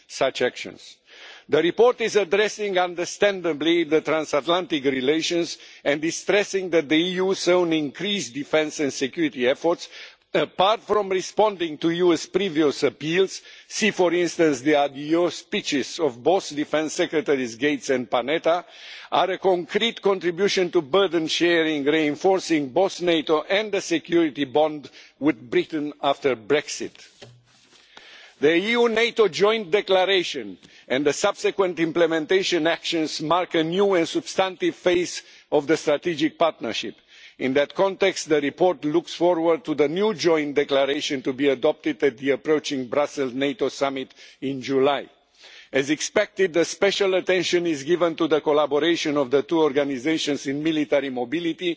such actions. The report is addressing, understandably, the transatlantic relations and is stressing that the EU's own increased defence and security efforts, apart from responding to US previous appeals, see for instance the adios' speeches of both defence secretaries Gates and Panetta, are a concrete contribution to burden sharing, reinforcing both NATO and the security bond with Britain after Brexit. The EU NATO joint declaration and the subsequent implementation actions mark a new and substantive phase of the strategic partnership. In that context, the report looks forward to the new joint declaration to be adopted at the approaching Brussels NATO summit in July. As expected, special attention is given to the collaboration between the two organisations in military mobility,